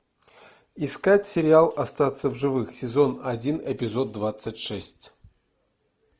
искать сериал остаться в живых сезон один эпизод двадцать шесть